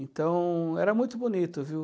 Então, era muito bonito, viu?